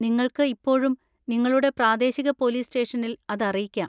നിങ്ങൾക്ക് ഇപ്പോഴും നിങ്ങളുടെ പ്രാദേശിക പോലീസ് സ്റ്റേഷനിൽ അത് അറിയിക്കാം.